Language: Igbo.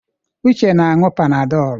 Uche na-anu Panadolụ.